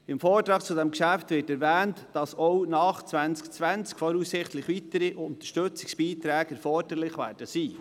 Im Vortrag zu diesem Geschäft wird erwähnt, dass auch noch im Jahr 2020 voraussichtlich weitere Unterstützungsbeiträge erforderlich sein werden.